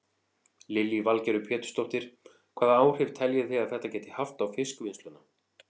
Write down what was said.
Lillý Valgerður Pétursdóttir: Hvaða áhrif telji þið að þetta geti haft á fiskvinnsluna?